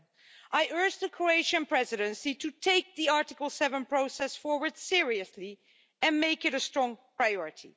7. I urge the Croatian Presidency to take the Article 7 process forward seriously and make it a strong priority.